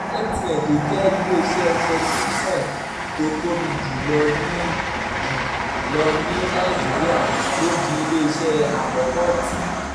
mtn tó jẹ́ iléeṣẹ́ tẹlifíṣọ̀n tó tóbi jù lọ ní jù lọ ní nàìjíríà ló di iléeṣẹ́ àkọ́kọ́ tí